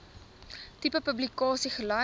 tipe publikasie gelys